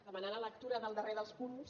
demanar la lectura del darrer dels punts